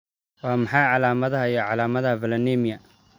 Waa maxay calaamadaha iyo calaamadaha Valinemia?